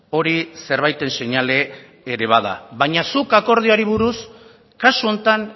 hori zerbaiten seinale era bada baina zuk akordioari buruz kasu honetan